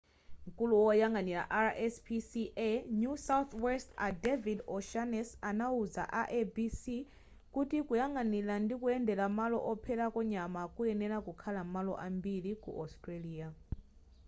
mkulu woyang'anira rspca new south west a david o'shannessy anauza a abc kuti kuyang'anira ndikuyendera malo opherako nyama kukuyenera kukhala m'malo ambiri ku australia